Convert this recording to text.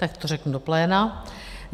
Tak to řeknu do pléna.